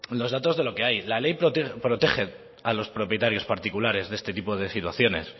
los datos de lo que hay la ley protege a los propietarios particulares de este tipo de situaciones